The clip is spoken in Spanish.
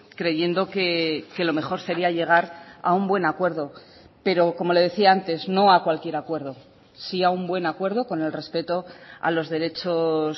creyendo que lo mejor sería llegar a un buen acuerdo pero como le decía antes no a cualquier acuerdo sí a un buen acuerdo con el respeto a los derechos